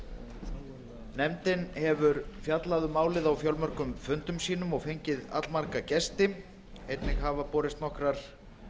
atburða nefndin hefur fjallað um málið á fjölmörgum fundum sínu og fengið allmarga gesti einnig hafa borist nokkrar